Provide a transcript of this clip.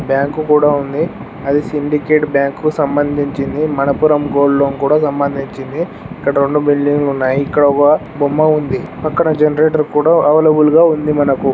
Bank కూడా ఉంది అది సిండికేట్ బ్యాంక్ కు సంబందించింది మనప్పురం గోల్డ్ లోన్ కు కూడా సంబందించింది ఇక్కడ రెండు బిల్డింగ్ లు ఉన్నాయి ఇక్కడ ఒక బొమ్మ ఉంది పక్కన జనరేటర్ కూడా అవైలబుల్ గా ఉంది మనకు.